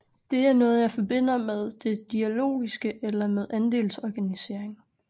Det er noget jeg forbinder med det dialogiske eller med andelsorganisering